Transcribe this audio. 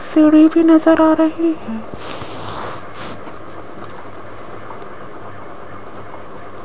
सीढ़ी भी नजर आ रही है।